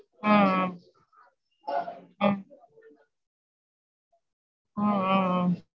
ஆஹ் ஆஹ் ஆ ஆ